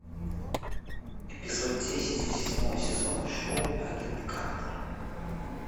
эпизод десять седьмого сезона шоу агент картер